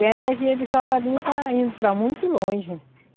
E a energia de Sobradinho está indo para muito longe.